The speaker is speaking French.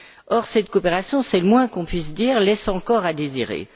Or, cette coopération, c'est le moins qu'on puisse dire, laisse encore à désirer.